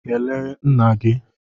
Kelee nna gị!